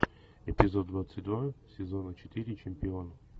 эпизод двадцать два сезона четыре чемпион